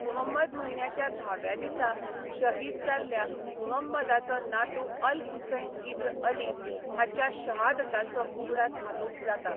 मुहंमद म्हयन्याच्या धाव्या दिसा शहीद जाल्ल्या मुहंमदाचो नातू अल हुसैन इब्न अली हाच्या शहादताचो उगडास हातूंत जाता.